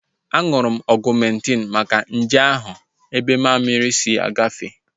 Aṅụrụ m Ọgumentin maka nje ahụ ebe mammiri si agafe